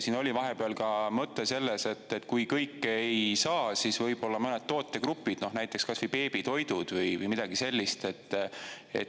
Siin oli vahepeal ka mõte selles, et kui kõike ei saa, siis võib-olla mõned tootegrupid, näiteks kas või beebitoidud või midagi sellist.